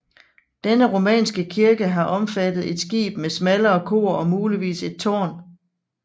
Denne romanske kirke har omfattet et skib med smallere kor og muligvis et tårn